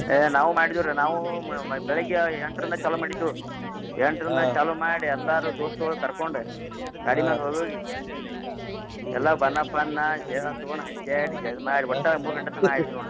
ಏ ನಾವೂ ಮಾಡಿದ್ವು ರಿ ನಾವೂ ಮ್~ ಮ್~ ಬೆಳಗ್ಗೆ ಎಂಟ್ರಿಂದ ಚಾಲೂ ಮಾಡಿದ್ವು ಎಂಟ್ರಿಂದ ಚಾಲೂ ಮಾಡಿ ಎಲ್ಲಾರೂ दोस्त ಗಳ್ ಕರ್ಕೊಂಡ್ ಗಾಡಿ ಮ್ಯಾಗ್ ಹೋಗ್ ಹೋಗಿ ಎಲ್ಲಾ ಬನ್ನ ಪನ್ನಾ ಹೇಳ್ ತುಗೋಂನ್ನ ಹಕ್ಯಾಡಿ ಎರ್ಡ್ ಮಾಡಿ ಎರ್ಡ್ ಮೂರ್ ಗಂಟೆ ತನಾ ಆಡ್ದೀವ್ ನೋಡ್ರಿ.